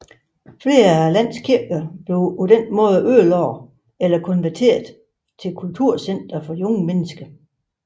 Flere af landets kirker blev ligeledes ødelagt eller konverteret til kulturcentre for unge mennesker